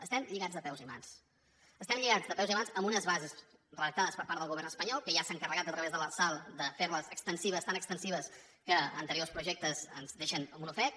estem lligats de peus i mans estem lligats de peus i mans amb unes bases redactades per part del govern espanyol que ja s’ha encarregat a través de l’arsal de fer les extensives tan extensives que a anteriors projectes ens deixen amb un ofec